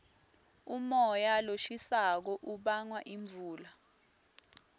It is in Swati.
umoya loshisako ubanga imvula